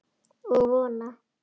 Og vona.